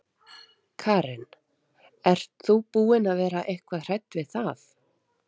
Karen: Ert þú búin að vera eitthvað hrædd við það?